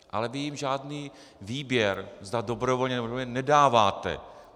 Ale vy jim žádný výběr, zda dobrovolně, nebo nedobrovolně, nedáváte.